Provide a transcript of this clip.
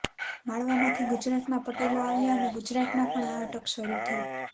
માળવામાંથી ગુજરાતમાં પટેલો આવ્યા અને ગુજરાતમાં પણ આ અટક શરૂ થઈ